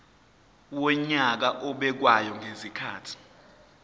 wonyaka obekwayo ngezikhathi